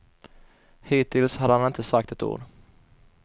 Hittills hade han inte sagt ett ord.